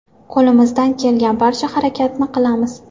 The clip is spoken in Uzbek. Qo‘limizdan kelgan barcha harakatni qilamiz.